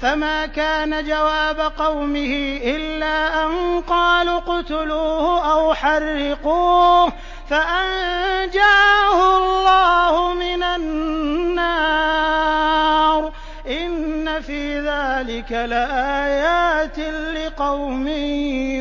فَمَا كَانَ جَوَابَ قَوْمِهِ إِلَّا أَن قَالُوا اقْتُلُوهُ أَوْ حَرِّقُوهُ فَأَنجَاهُ اللَّهُ مِنَ النَّارِ ۚ إِنَّ فِي ذَٰلِكَ لَآيَاتٍ لِّقَوْمٍ